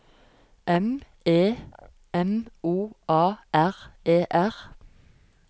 M E M O A R E R